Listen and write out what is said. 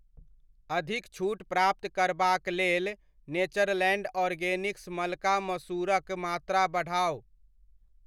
अधिक छूट प्राप्त करबाक लेल नेचरलैंड ऑर्गेनिक्स मलका मसूरक मात्रा बढ़ाउ।